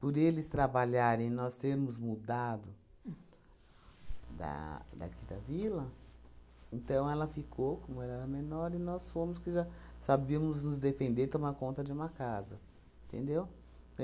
Por eles trabalharem e nós termos mudado da daqui da vila, então ela ficou, como ela era menor, e nós fomos que já sabíamos nos defender e tomar conta de uma casa, entendeu?